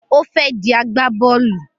Ó fẹ́ di agbábọ́lù